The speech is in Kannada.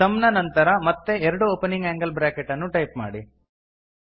ಸಮ್ ನ ನಂತರ ಮತ್ತೆ ಎರಡು ಒಪನಿಂಗ್ ಆಂಗಲ್ ಬ್ರಾಕೆಟ್ ಅನ್ನು ಟೈಪ್ ಮಾಡಿ